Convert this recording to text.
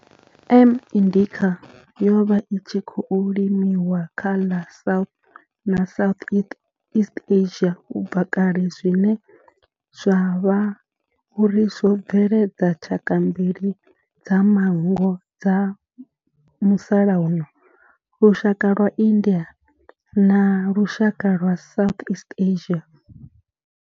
M. indica yo vha i tshi khou limiwa kha ḽa South na Southeast Asia ubva kale zwine zwa vha uri zwo bveledza tshaka mbili dza manngo dza musalauno, lushaka lwa India na lushaka lwa Southeast Asia.